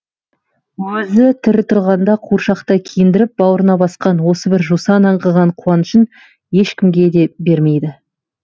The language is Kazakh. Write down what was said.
өзі тірі тұрғанда қуыршақтай киіндіріп бауырына басқан осы бір жусан аңқыған қуанышын ешкімге де бермейді